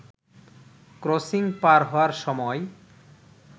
crossing পার হওয়ার সময়